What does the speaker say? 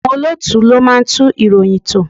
Àwọn olóòtú ló máa ń tún ìròyìn tò.